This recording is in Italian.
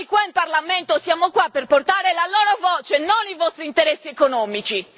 Noi qua in Parlamento siamo qua per portare la loro voce, non i vostri interessi economici.